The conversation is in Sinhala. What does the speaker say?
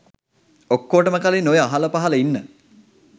ඔක්කොටම කලින් ඔය අහලපහල ඉන්න